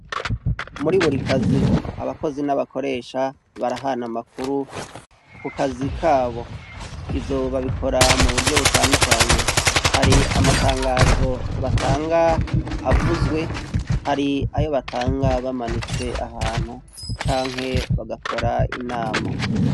Muri buri kazi , abakozi n'abakoresha barahana amakuru kukazi kabo ivyo babikora muburyo butadukanye, hari amatagazo batanga avuzwe hari ayo batanga bamanitse ahantu canke bagakora inama.